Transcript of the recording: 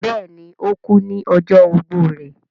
bẹẹni, ó kú ní ọjọ́ ogbó rẹ̀